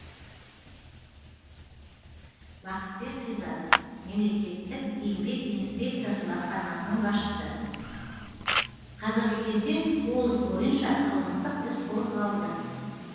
бақытбек қизатов мемлекеттік еңбек инспекциясы басқармасының басшысы қазіргі кезде ол іс бойынша қылмыстық іс қозғалды